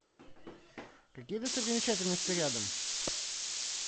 какие достопримечательности рядом